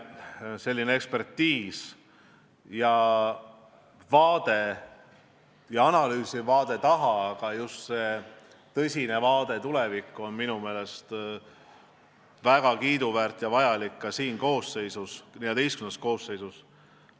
Kindlasti on teie analüüsiv eksperdivaade minevikku ja ka tulevikku väga kiiduväärt ja vajalik ka selles XIV koosseisus.